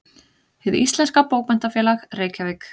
Hið íslenska bókmenntafélag: Reykjavík.